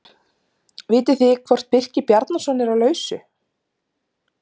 Vitið þið hvort Birkir Bjarnason er á lausu?